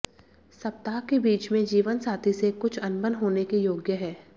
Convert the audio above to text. सप्ताह के बीच में जीवनसाथी से कुछ अनबन होने के योग्य है